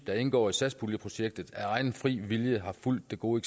der indgår i satspuljeprojektet af egen fri vilje har fulgt det gode